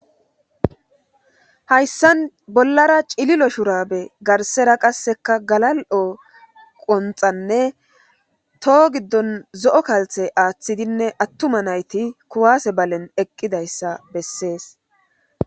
hayssan bollara cililo shurabe garsera qasseka galal'o qonxanne toho giddon zo'o kalthe aaththidinne attuma nayti kuwase balen eqqidayssa bessees